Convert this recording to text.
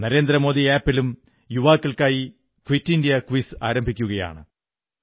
നരേന്ദ്രമോദി ആപ്പിലും യുവാക്കൾക്കായി quit India quiz ആരംഭിക്കുന്നതാണ്